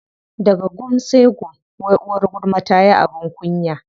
Daga gum sai gum, wai uwar gulma tayi abin kunya.